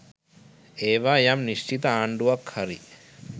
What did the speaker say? ඒවා යම් නිශ්චිත ආණ්ඩුවක් හරි